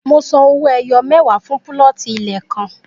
Mo san owó ẹyọ mẹwa fún púlọ̀tì ilẹ̀ kan